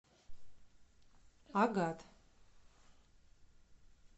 агат